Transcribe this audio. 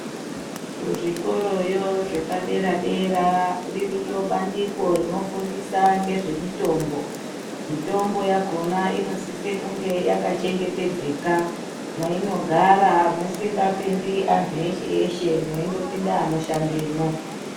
Kuzvikoroyo zvepadera dera ririyo bandiko rinofundisa ngezvemitombo, mitombo yakona inosise kunge yakachengetedzeka mweinogara musingapindi antu eshe eshe mweindopinde anoshandemwo.